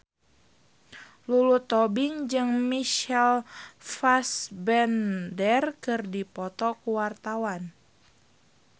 Lulu Tobing jeung Michael Fassbender keur dipoto ku wartawan